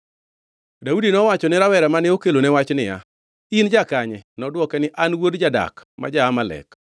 Daudi nowacho ni rawera mane okelone wach niya, “In jakanye?” Nodwoke niya, “An wuod jadak ma ja-Amalek.”